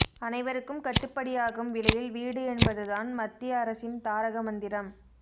அனைவருக்கும் கட்டுப்படியாகும் விலையில் வீடு என்பது தான் மத்திய அரசின் தாரக மந்திரம்